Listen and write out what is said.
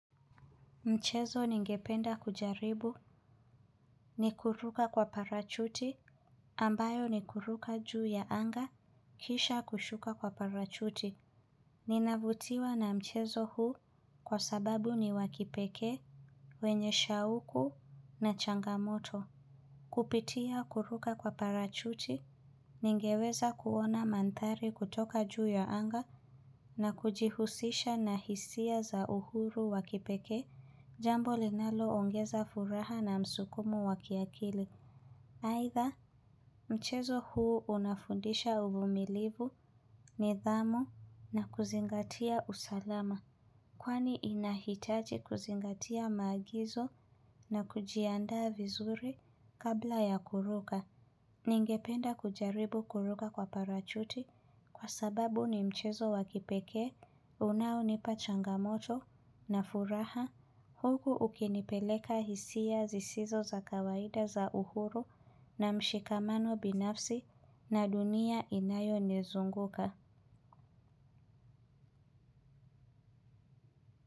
Mchezo ningependa kujaribu ni kuruka kwa parachuti ambayo ni kuruka juu ya anga kisha kushuka kwa parachuti. Ninavutiwa na mchezo huu kwa sababu ni wa kipekee wenye shauku na changamoto. Kupitia kuruka kwa parachuti ningeweza kuona manthari kutoka juu ya anga na kujihusisha na hisia za uhuru wa kipekee. Jambo linalo ongeza furaha na msukumu wa kiakili aidha mchezo huu unafundisha uvumilivu nidhamu na kuzingatia usalama. Kwani inahitaji kuzingatia maagizo na kujiandaa vizuri kabla ya kuruka. Ningependa kujaribu kuruka kwa parachuti kwa sababu ni mchezo wa kipekee. Unaonipa changamoto na furaha huku ukinipeleka hisia zisizo za kawaida za uhuru na mshikamano binafsi na dunia inayonizunguka.